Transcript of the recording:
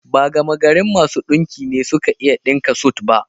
Ba gamagarin masu ɗinki ne suke iya ɗinka sut ba